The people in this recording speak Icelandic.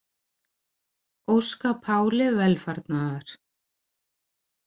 Óska Páli velfarnaðar